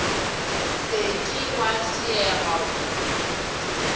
se ke wa fšega go